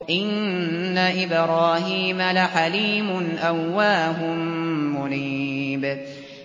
إِنَّ إِبْرَاهِيمَ لَحَلِيمٌ أَوَّاهٌ مُّنِيبٌ